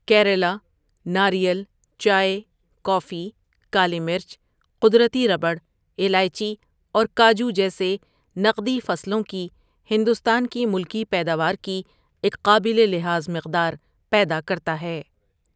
کیرالہ ناریل، چائے، کافی، کالی مرچ، قدرتی ربڑ، الائچی اور کاجو جیسے نقدی فصلوں کی ہندوستان کی ملکی پیداوار کی ایک قابل لحاظ مقدار پیدا کرتا ہے۔